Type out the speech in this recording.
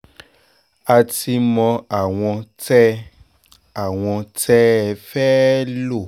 a ti mọ àwọn tẹ́ àwọn tẹ́ ẹ fẹ́ẹ́ lò